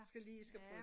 Skal lige skal bruge